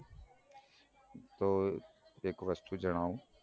તો એક વસ્તુ જણાવું